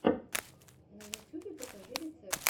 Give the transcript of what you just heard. на ютюбе покажи рецепты